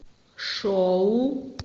шоу